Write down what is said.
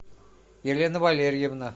елена валерьевна